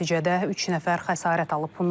Nəticədə üç nəfər xəsarət alıb.